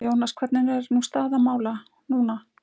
Jónas, hvernig er nú staða mála núna?